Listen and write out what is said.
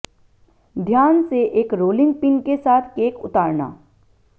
ध्यान से एक रोलिंग पिन के साथ केक उतारना